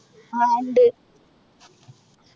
ആഹ് ഉണ്ട്